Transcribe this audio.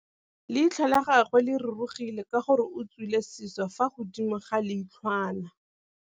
Leitlhô la gagwe le rurugile ka gore o tswile sisô fa godimo ga leitlhwana.